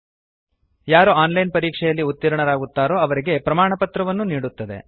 001100 001003 ಯಾರು online ಪರೀಕ್ಷೆಯಲ್ಲಿ ಉತೀರ್ಣರಾಗುತ್ತಾರೋ ಅವರಿಗೆ ಪ್ರಮಾಣಪತ್ರವನ್ನೂ ನೀಡುತ್ತದೆ